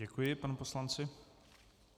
Děkuji panu poslanci.